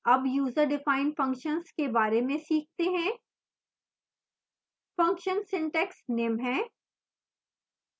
अब user defined functions के बारे में सीखते हैं function सिंटैक्स निम्न है